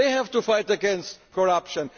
they have to fight against corruption